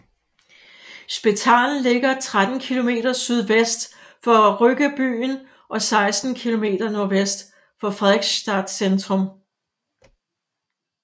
Spetalen ligger 13 kilometer sydvest for Ryggebyen og 16 kilometer nordvest for Fredrikstad centrum